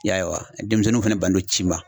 I y'a ye wa denmisɛnninw fana bannen no ci ma.